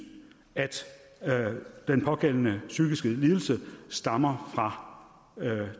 at den pågældende psykiske lidelse stammer fra